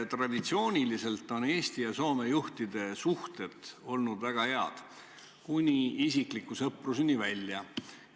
Traditsiooniliselt on Eesti ja Soome juhtide suhted olnud väga head, kuni isikliku sõpruseni välja.